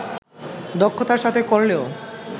দক্ষতার সাথে করলেও